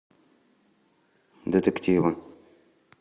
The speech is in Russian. детективы